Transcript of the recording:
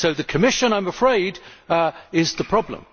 So the Commission, I am afraid, is the problem.